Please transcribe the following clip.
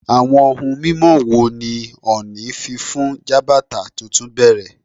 Awọn ohun mimọ wo ni Ooni fi fun Jabata tuntun bẹrẹ?